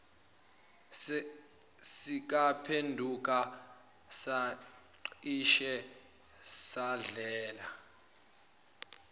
sikaphenduka sacishe sadlela